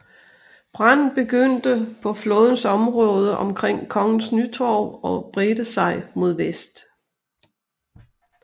Branden begyndte på flådens område omkring Kongens Nytorv og bredte sig mod vest